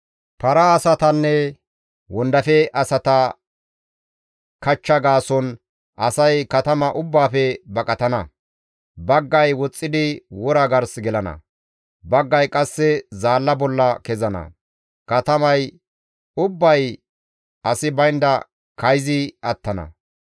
Para asatanne wondafe asata kachcha gaason asay katama ubbaafe baqatana. Baggay woxxidi wora gars gelana; baggay qasse zaalla bolla kezana; katamay ubbay asi baynda kayzi attana.